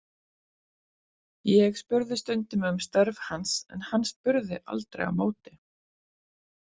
Ég spurði stundum um störf hans en hann spurði aldrei á móti.